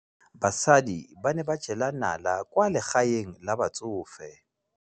Basadi ba ne ba jela nala kwaa legaeng la batsofe.